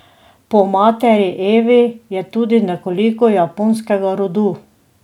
Po materi Evi je tudi nekoliko japonskega rodu.